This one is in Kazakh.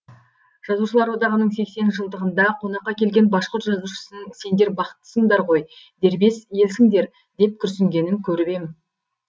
жазушылар одағының сексен жылдығында қонаққа келген башқұрт жазушысының сендер бақыттысыңдар ғой дербес елсіңдер деп күрсінгенін көріп ем